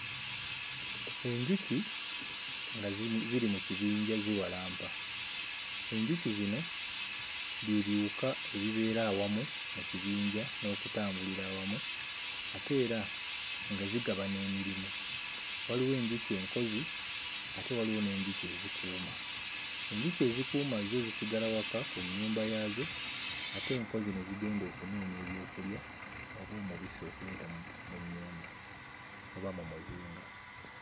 Enjuki nga ziri ziri mu kibinja ziwalampa, enjuki zino bye biwuka ebibeera awamu mu kibinja n'okutambulira awamu ate era nga zigabana emirimu. Waliwo enjuki enkozi ate waliwo n'enjuki ezikuuma. Enjuki ezikuuma zo zisigala waka ku nnyumba yaazo ate enkozi ne zigenda okunoonya ebyokulya oba omubisi okuleeta mu nnyumba oba mu muzinga.